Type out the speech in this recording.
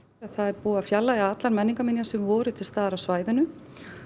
það er búið að fjarlægja allar menningarminjar sem voru til staðar á svæðinu